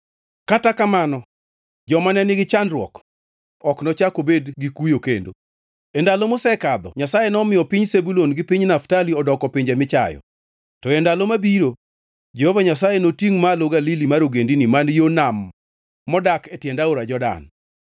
Kata kamano, joma ne nigi chandruok ok nochak obed gikuyo kendo. E ndalo mosekadho Nyasaye nomiyo piny Zebulun gi piny Naftali odoko pinje michayo, to e ndalo mabiro Jehova Nyasaye notingʼ malo Galili mar ogendini man yo nam modak e tiend aora Jordan: